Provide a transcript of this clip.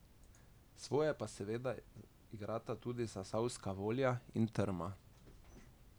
Svoje pa seveda igrata tudi zasavska volja in trma.